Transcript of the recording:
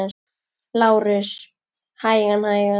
LÁRUS: Hægan, hægan!